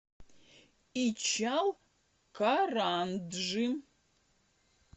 ичалкаранджи